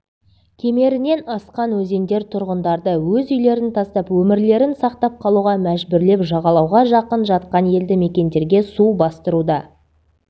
кемерінен асқан өзендер тұрғындарды өз үйлерін тастап өмірлерін сақтап қалуға мәжбүрлеп жағалауға жақын жатқан елді мекендерге су бастыруда